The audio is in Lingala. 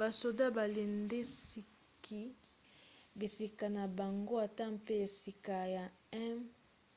basoda balendisaki bisika na bango ata mpe esika ya 1